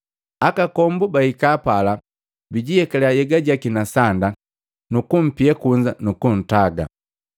Akakombu bahika pala, bijiyekaliya nhyega jaki na sanda nukumpia kunza nukuntaga.